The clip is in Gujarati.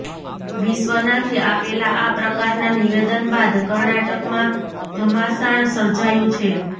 વિશ્વનાથે આપેલા આ પ્રકારના નિવેદન બાદ કર્ણાટકમાં ઘમાસાણ સર્જાયુ છે